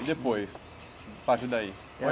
E depois, parte daí?